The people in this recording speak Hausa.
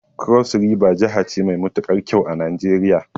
Cross River jahace mai matukar kyau a Nijeriya